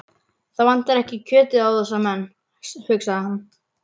Það vantar ekki kjötið á þessa menn, hugsaði hann.